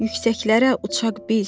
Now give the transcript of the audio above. yüksəklərə uçaq biz.